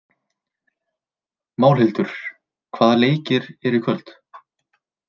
Málhildur, hvaða leikir eru í kvöld?